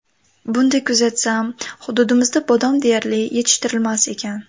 Bunday kuzatsam, hududimizda bodom deyarli yetishtirilmas ekan.